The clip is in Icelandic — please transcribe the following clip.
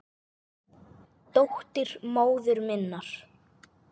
Dóttir móður minnar?